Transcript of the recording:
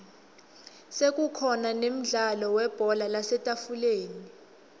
sekukhona nemdlalo webhola lasetafuleni